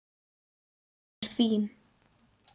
Hún er fín.